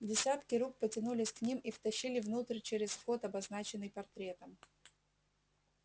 десятки рук потянулись к ним и втащили внутрь через вход обозначенный портретом